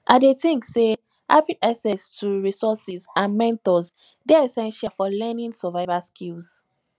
i dey think say having access to resources and mentors dey essential for learning survival skills